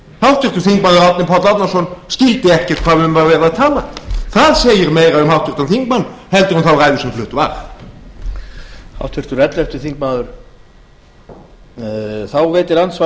háttvirtur þingmaður árni páll árnason skildi ekki hvað um var verið að tala það segir meira um háttvirtan þingmann heldur en þá ræðu sem flutt var